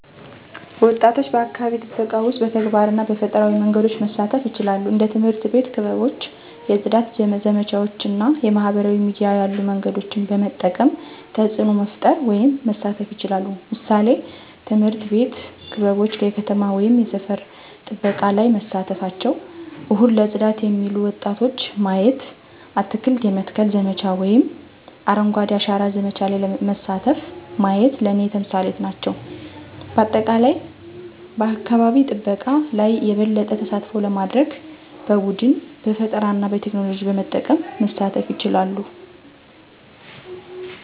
ወጣቶች በአካባቢ ጥበቃ ውስጥ በተግባር እና በፈጠራዊ መንገዶች መሳተፉ ይችላሉ። እንደ ትምህርት አቤት ክበቦች የፅዳት ዘመቻዎች እና የማህበራዊ ሚዲያ ያሉ መንገዶችን በመጠቀም ተፅዕኖ መፈጠር ወይም መሳተፍ ይችላሉ። ምሳሌዎች፦ ትምህርት ቤት ክበቦች የከተማ ወይም የሰፈር ጥበቃ ላይ መሳተፍቸው፣ እሁድ ለጽዳት የሚሉ ወጣቶች ማየቲ፣ አትክልት የመትከል ዘመቻ ወይም አረንጓዴ አሻራ ዘመቻ ለይ መሳተፉ ማየት ለኔ ተምሳሌት ናቸው። በአጠቃላይ በአካባቢ ጠበቃ ለይ የበለጠ ተሳትፎ ለማድርግ በቡድን፣ በፈጠራና በቴክኖሎጂ በመጠቀም መሳተፍ ይቻላሉ።